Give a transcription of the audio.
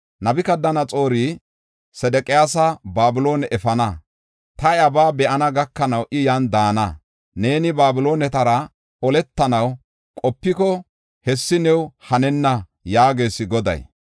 Nabukadanaxoori Sedeqiyaasa Babiloone efana; ta iyabaa be7ana gakanaw I yan daana. Neeni Babiloonetara oletanaw qopiko, hessi new hanenna” yaagees Goday.